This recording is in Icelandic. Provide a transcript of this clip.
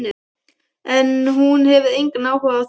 En hún hefur engan áhuga á þér.